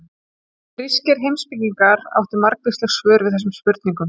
Grískir heimspekingar áttu margvísleg svör við þessum spurningum.